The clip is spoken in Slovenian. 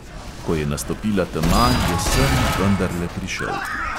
Ko je nastopila tema, je sen vendarle prišel.